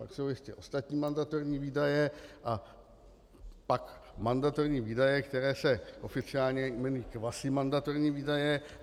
Pak jsou ještě ostatní mandatorní výdaje a pak mandatorní výdaje, které se oficiálně jmenují kvazimandatorní výdaje.